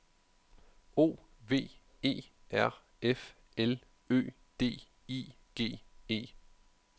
O V E R F L Ø D I G E